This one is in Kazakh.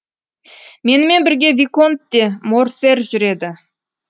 менімен бірге виконт де морсер жүреді